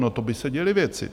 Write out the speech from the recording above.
No, to by se děly věci!